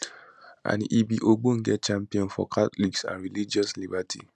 and e be ogbonge champion for catholics and religious liberty